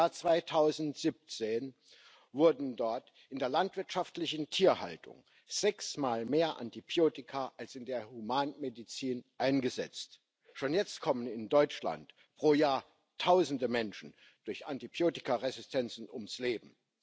Im Jahr 2017 wurden dort in der landwirtschaftlichen Tierhaltung sechsmal mehr Antibiotika als in der Humanmedizin eingesetzt. Schon jetzt kommen in Deutschland pro Jahr Tausende Menschen durch Antibiotikaresistenzen ums Leben.